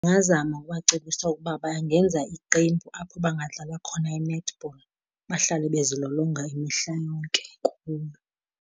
Ndingazama ukubacebisa ukuba bangenza iqembu apho bangadlala khona i-netball. Bahlale bezilolonga imihla yonke kuyo.